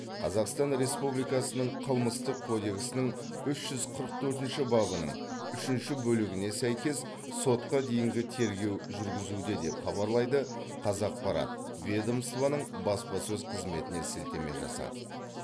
қазақстан республикасының қылмыстық кодексінің үш жүз қырық төртінші бабының үшінші бөлігіне сәйкес сотқа дейінгі тергеу жүргізуде деп хабарлайды қазақпарат ведомствоның баспасөз қызметіне сілтеме жасап